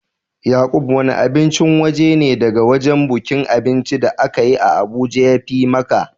Yaqub wanne abincin waje ne daga wajen bukin abinci da aka yi a Abuja ya fi ma ka?